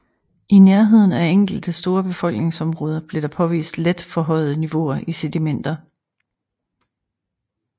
I nærheden af enkelte store befolkningsområder blev der påvist let forhøjede niveauer i sedimenter